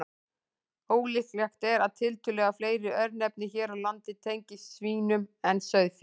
Ólíklegt er að tiltölulega fleiri örnefni hér á landi tengist svínum en sauðfé.